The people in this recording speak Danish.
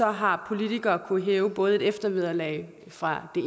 har politikere kunnet hæve både et eftervederlag fra det